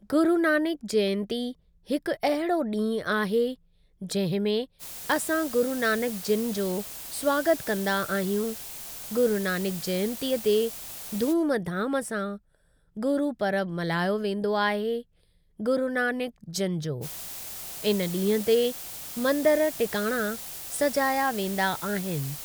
गुरुनानक जयंती हिकु अहिड़ो ॾींहुं आहे जंहिं में असां गुरुनानक जिन जो स्वागत कंदा आहियूं गुरुनानक जयंती ते धूम धाम सां गुरुपरब मल्हायो वेंदो आहे गुरुनानक जिन जो, इन ॾींहुं ते मंदर टिकाणा सजाया वेंदा आहिनि ।